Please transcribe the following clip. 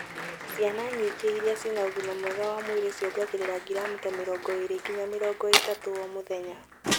Ciana nyingĩ irĩa cĩna ũgima mwega wa mwĩrĩ ciongereraga gramu ta mĩrongo ĩrĩ nginya mĩrongo ĩtatũ o mũthenya.